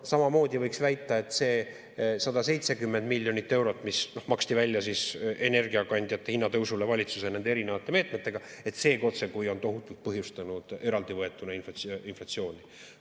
Samamoodi võiks väita, et see 170 miljonit eurot, mis maksti välja energiakandjate hinna tõusu puhul valitsuse erinevate meetmetega, on tohutult põhjustanud eraldi võetuna inflatsiooni.